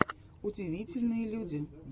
удивительные люди